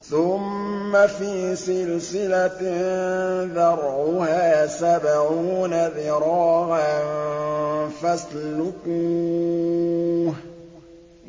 ثُمَّ فِي سِلْسِلَةٍ ذَرْعُهَا سَبْعُونَ ذِرَاعًا فَاسْلُكُوهُ